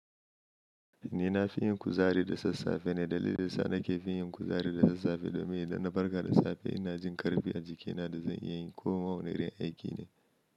Eh nafi yin kuzari da sassafe dalilin da yasa nake kuzari da sassafe shine domin in na farka d safe ina jin kuzari karfi a jikina da zan iya komi. Wanne irin aiki ne.